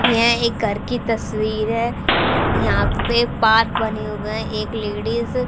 यह एक घर की तस्वीर है यहां पे पाथ बने हुए हैं एक लेडिस --